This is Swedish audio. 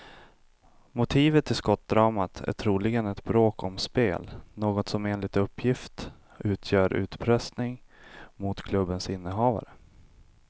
Motivet till skottdramat är troligen ett bråk om spel, något som enligt uppgift utgör utpressning mot klubbens innehavare.